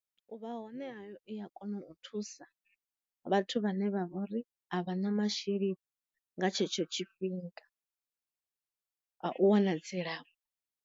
U vha hone ha i a kona u thusa vhathu vhane vha vhori a vha na masheleni nga tshetsho tshifhinga a u wana dzilafho.